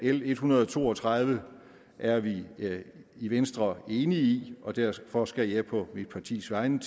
l en hundrede og to og tredive er vi i venstre enige i og derfor skal jeg på mit partis vegne